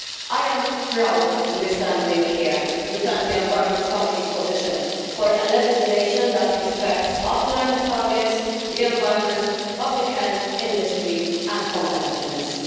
I am proud to be standing here to defend the Committee on the Environment's position on legislation that respects our climate targets, the environment, public health, industry and competitiveness.